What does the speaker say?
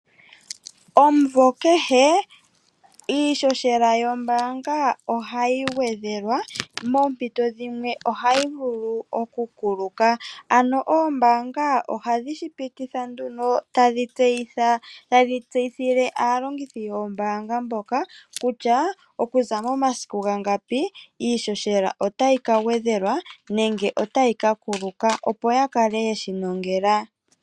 Omvo kehe iishoshela yombaanga ohayi gwedhelwa moompito dhimwe ohayi vulu oku kuluka. Ano oombaanga oha dhi shi pititha nduno tadhi tseyithila, tadhi tseyithile aalongithi yoombaanga mboka kutya, momasiku gangapi iishoshela otayi ka gwedhelwa nenge otayi ka kuluka opo ya kale yeshi nongela.